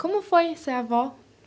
Como foi ser avó?